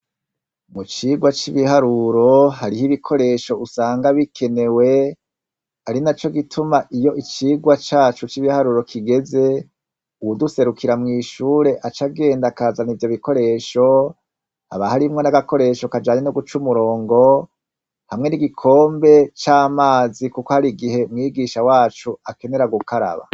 Mu cirwa c'ibiharuro, hariho ibikoresho usanga bikenewe, ari naco gituma iyo icigwa caco c'ibiharuro kigeze, uwuduserukira mw'ishure aca agenda akazana ivyo bikoresho, haba harimwo n'agakoresho kajanye n'uguca umurongo hamwe n'igikombe c'amazi kuko hari igihe mwigisha wacu akenera gukaraba.